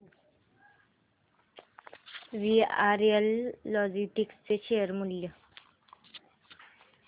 VRL logistics चे share मूल्य